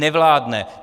Nevládne.